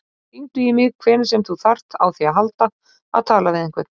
Hringdu í mig hvenær sem þú þarft á því að halda að tala við einhvern.